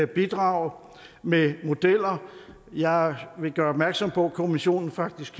bidrage med modeller jeg vil gøre opmærksom på at kommissionen faktisk